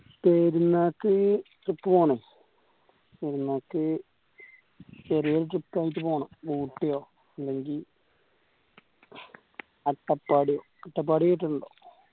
പെരുന്നാൾക് trip പോവണം പെരുന്നാൾക്ക് ചെറിയൊരു trip ആയിട്ട് പോവണം ഊട്ടിയോ അല്ലെങ്കി അട്ടപാടിയോ അട്ടപ്പാടി കേട്ടിട്ടുണ്ടോ